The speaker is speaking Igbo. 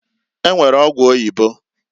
E nwere ọgwụ oyibo.